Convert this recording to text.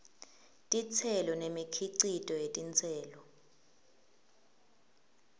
titselo nemikhicito yetitselo